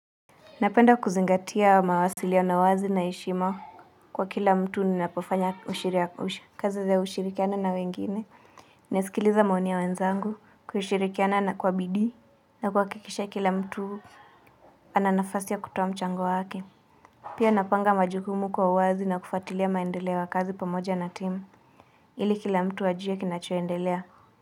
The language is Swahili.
Napenda kuzingatia mawasiliano wazi na heshima kwa kila mtu ninapofanya kazi za ushirikiano na wengine. Nasikiliza maoni ya wenzangu, kushirikiana na kwa bidii na kuhakikisha kila mtu ana nafasi ya kutoa mchango wake. Pia napanga majukumu kwa uwazi na kufuatilia maendeleo ya kazi pamoja na team. Ili kila mtu ajue kinacho endelea.